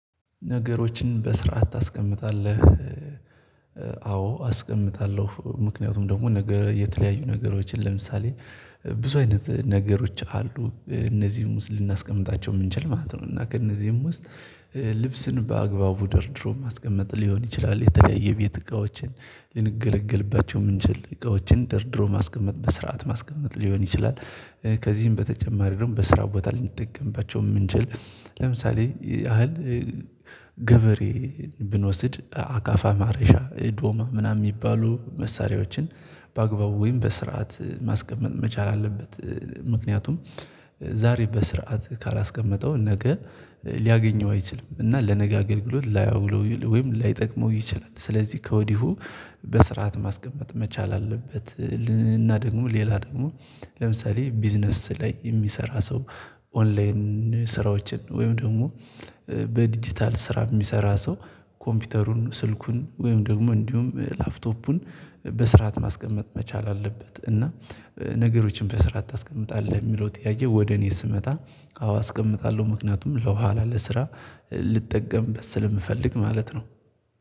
ነገሮችን በስርዓት ታስቀምጣለህ? አዎ አስቀምጣለሁ ምክንያቱም ደግሞ ነገ የተለያዩ ነገሮችን ለምሳሌ ብዙ አይነት ነገሮች አሉ እነዚህም ውስጥ ልናስቀምጣቸው የምንችል ማለት ነው። እና ከእነዚህም ውስጥ ልብስን በአግባቡ ደርድሮ ማስቀመጥ ሊሆን ይችላል የተለያየ የቤት እቃዎችን ልንገለግልባቸው የምንችል እቃዎችን ደርድሮ ማስቀመጥ በስርዓት ማስቀመጥ ሊሆን ይችላል። ከዚህም በተጨማሪ ደግሞ በስራ ቦታ ልንጠቀምባቸው የምንችል ለምሳሌ ያህል ገበሬን ብንወስድ አካፋ ማረሻ ዶማ ምናምን የሚባሉ መሳሪያዎችን በአግባቡ ወይም በስርዓት ማስቀመጥ መቻል አለበት። ምክንያቱም ዛሬ በስርዓት ካላስቀመጠው ነገ ሊያገኘው አይችልም እና ለነገ አገልግሎት ላያውለው ወይም ላይጠቅመው ይችላል። ስለዚህ ከወዲሁ በስርዓት ማስቀመጥ መቻል አለበት። እና ደግሞ ሌላ ደግሞ ለምሳሌ ቢዝነስ ላይ የሚሰራ ሰው ኦንላይን ስራዎችን ወይም ደግሞ በዲጂታል ስራ የሚሰራ ሰው ኮምፒውተሩን ስልኩን ወይም ደግሞ እንዲሁም ላፕቶፑን በስርዓት ማስቀመጥ መቻል አለበት። እና ነገሮችን በስርዓት ታስቀምጣለህ የሚለው ጥያቄ ወደ እኔ ስመጣ አዎ አስቀምጣለሁ ምክንያቱም ለኋላ ለስራ ልጠቀምበት ስለምፈልግ ማለት ነው።